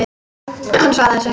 Hann svaraði þessu ekki.